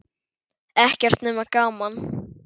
Ekkert nema gaman!